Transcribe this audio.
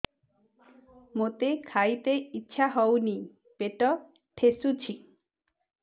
ମୋତେ ଖାଇତେ ଇଚ୍ଛା ହଉନି ପେଟ ଠେସୁଛି